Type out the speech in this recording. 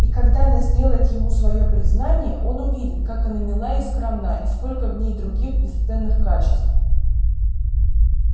и когда она сделает ему своё признание он увидит как она мила и скромна и сколько в ней других бесценных качеств